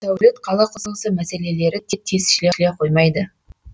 сәулет қала құрылысы мәселелері де тез шешіле қоймайды